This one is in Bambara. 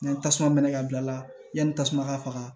Ni tasuma mɛnɛ ka bila la yanni tasuma ka faga